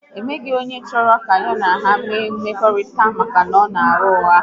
Ọ nweghị onye chọrọ ka ha na ya nwee mmekọ maka na ọ na agha ụgha